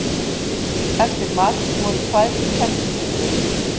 Eftir mat voru tvær kennslustundir.